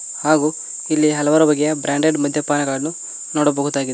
ಹಾಗು ಇಲ್ಲಿ ಹಲವಾರು ಬಗೆಯ ಬ್ರಾಂಡೆಡ್ ಮಧ್ಯಪಾನಗಳನ್ನು ನೋಡಬಹುದಾಗಿದೆ.